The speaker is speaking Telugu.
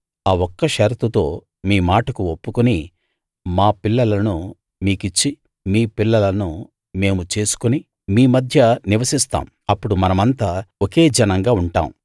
ఆ ఒక్క షరతుతో మీ మాటకు ఒప్పుకుని మా పిల్లలను మీ కిచ్చి మీ పిల్లలను మేము చేసుకుని మీ మధ్య నివసిస్తాం అప్పుడు మనమంతా ఒకే జనంగా ఉంటాం